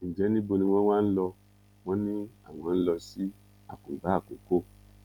ǹjẹ níbo ni wọn wá ń lò wọn ni àwọn ń lọ sí àkùngbà àkọkọ